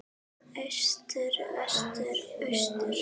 Austur Vestur Austur